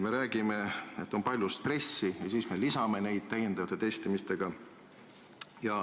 Me räägime, et on palju stressi, aga lisame seda täiendavate testimistega.